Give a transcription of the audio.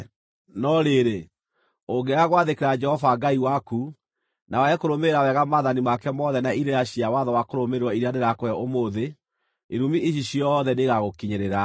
No rĩrĩ, ũngĩaga gwathĩkĩra Jehova Ngai waku, na wage kũrũmĩrĩra wega maathani make mothe na irĩra cia watho wa kũrũmĩrĩrwo iria ndĩrakũhe ũmũthĩ, irumi ici ciothe nĩigagũkinyĩrĩra: